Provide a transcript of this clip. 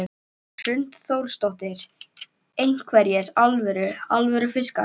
Hrund Þórsdóttir: Einhverjir alvöru, alvöru fiskar?